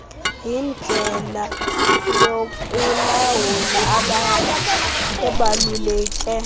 yindlela yokulawula ebaluleke